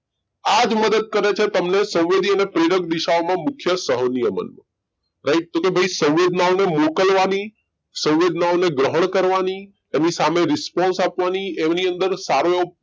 આજ મદદ કરે છે તમને સંવેદિ અને પ્રેરક દિશાઓમાં મુખ્ય સહનિયમન right તો કે ભાઈ સંવેદનાઓને મોકલવાની સંવેદનાઓને ગ્રહણ કરવાની એની સામે response આપવાની એમની અંદર સારો એવો